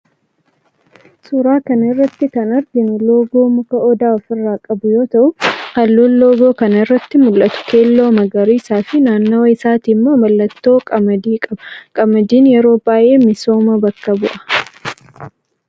suuraa kana irratti kan arginu loogoo muka odaa ofirraa qabu yoo ta'u halluun loogoo kana irratti mul'atu keelloo, magariisa fi naannawa isaati immoo mallattoo qamadii qaba. Qamadiin yeroo baayyee misooma bakka bu'a.